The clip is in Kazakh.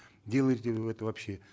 делаете ли вы это вообще